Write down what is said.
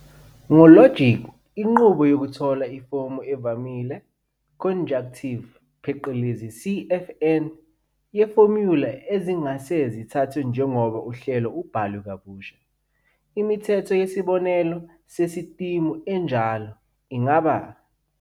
Ngo logic, inqubo yokuthola ifomu evamile conjunctive, CNF, yefomula ezingase zithathwe njengoba uhlelo ubhalwe kabusha. Imithetho yesibonelo sesistimu enjalo ingaba.